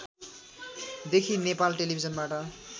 देखि नेपाल टेलिभिजनबाट